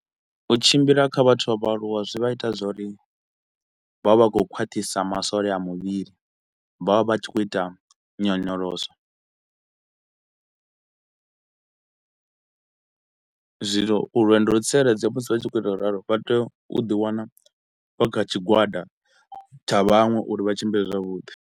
U tshimbila kha vhathu vha vha aluwa zwi vha ita zwa uri vha vha vha khou khwaṱhisa masole a muvhili vha vha vha tshi khou ita nyonyoloso , zwino uri lwendo lu tsireledzee musi vha tshi khou ita ngauralo vha tea u ḓi wana vha kha tshigwada tsha vhaṅwe uri vha tshimbile zwavhuḓi